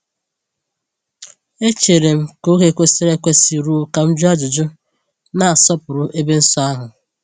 Echeere m ka oge kwesịrị ekwesị ruo ka m jụọ ajụjụ, na-asọpụrụ ebe nsọ ahụ.